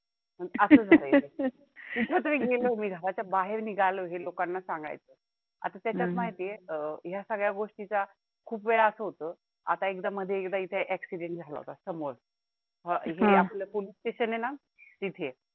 आता त्याच्यात माहिती आहे, अं ह्यात सगळ्या गोष्टींचा खूप वेळा असं होत, आता एकदा मध्ये एकदा accident झाला होता समोर अह हे आपलं police station आहे ना तिथे